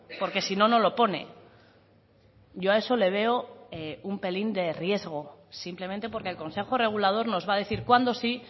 porque si no no lo pone yo a eso le veo un pelín de riesgo simplemente porque el consejo regulador nos va a decir cuándo sí